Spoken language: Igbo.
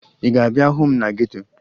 Ị ga-abịa hụ m na geto?